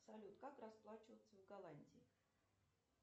салют как расплачиваться в голландии